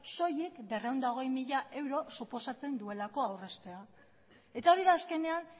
soilik berrehun eta hogei mila euro suposatzen duelako aurreztea eta hori da azkenean